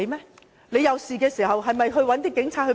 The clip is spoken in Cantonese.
大家有事時，還是要找警察協助。